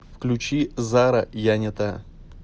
включи зара я не та